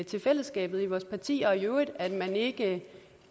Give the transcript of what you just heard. til fællesskabet i vores parti og i øvrigt at man ikke